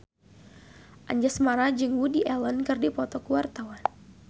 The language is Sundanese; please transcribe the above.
Anjasmara jeung Woody Allen keur dipoto ku wartawan